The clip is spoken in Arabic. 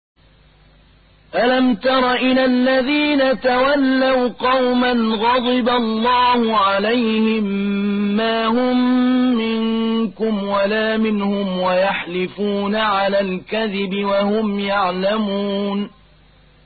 ۞ أَلَمْ تَرَ إِلَى الَّذِينَ تَوَلَّوْا قَوْمًا غَضِبَ اللَّهُ عَلَيْهِم مَّا هُم مِّنكُمْ وَلَا مِنْهُمْ وَيَحْلِفُونَ عَلَى الْكَذِبِ وَهُمْ يَعْلَمُونَ